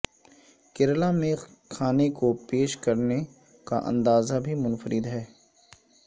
کیرالہ میں کھانے کو پیش کرنے کا انداز بھی منفرد ہے